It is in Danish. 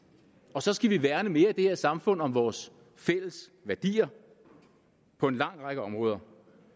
og så skal vi værne mere i det her samfund om vores fælles værdier på en lang række områder